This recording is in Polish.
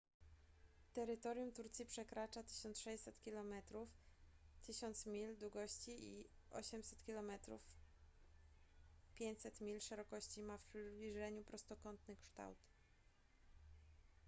terytorium turcji przekracza 1600 kilometrów 1000 mil długości i 800 kilometrów 500 mil szerokości ma w przybliżeniu prostokątny kształt